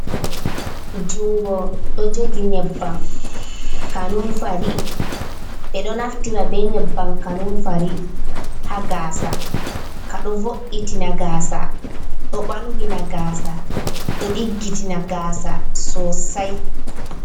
Jungo ɗo jogi nyebbam kanunfari. Ɓeɗo naftira be nyebbam kanunfari ha gaasa. Ka ɗo vo'itina gaasa, ɗo ɓalwina gaasa, ɗo diggitina gaasa sosai.